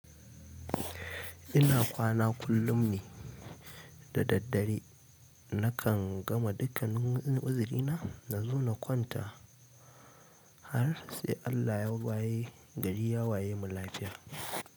Ina kwana kullum ne da daddare nakan gama dukkan uzurina na zo na kwanta har sai Allah ya waye gari ya waye mu lafiya.